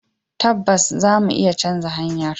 Tabbas za mu iya canza hanyar.